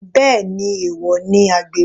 Bẹ́ẹ̀ni, èwọ̀ ni àgbèrè.